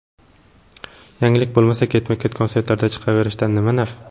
Yangilik bo‘lmasa, ketma-ket konsertlarda chiqaverishdan nima naf?!